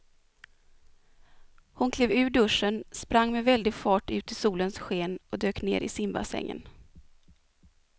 Hon klev ur duschen, sprang med väldig fart ut i solens sken och dök ner i simbassängen.